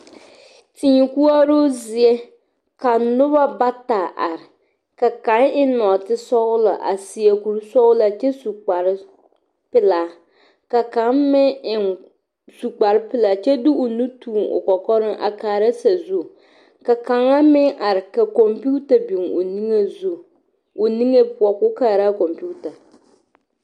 Tii koɔro zie ka noba bata are ka kaŋ eŋ nɔɔte sɔglɔ a seɛ kuri sɔglaa kyɛ su kpare pelaa ka kaŋa meŋ eŋ su kpare pelaa kyɛ de o nu tuŋ o kɔkɔre a kaara sazu ka kaŋa meŋ are ka konpita biŋ o niŋe zu o niŋe poɔ ko kaara konpita.